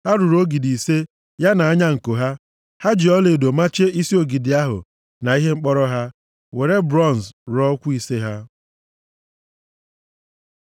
Ha rụrụ ogidi ise ya na anya nko ha. Ha ji ọlaedo machie isi ogidi ahụ na ihe mkpọrọ ha, were bronz rụọ ụkwụ ise ha.